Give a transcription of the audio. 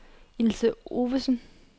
Ilse Ovesen